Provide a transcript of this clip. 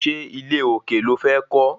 Ṣé ilé òkè lo fẹ́ kọ́?